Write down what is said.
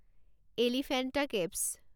Elephanta caves